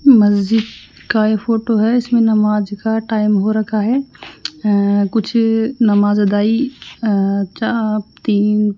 मस्जिद का ये फोटो है इसमें नमाज का टाइम हो रखा है अं कुछ नमाज अदाई अ चा तीन --